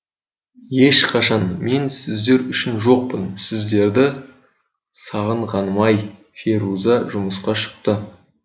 ешқашан мен сіздер үшін жоқпын сіздерді сағынғаным ай феруза жұмысқа шықты